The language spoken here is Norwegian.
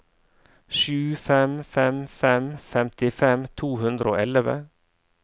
sju fem fem fem femtifem to hundre og elleve